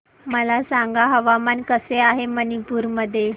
मला सांगा हवामान कसे आहे मणिपूर मध्ये